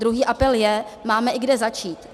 Druhý apel je, máme i kde začít.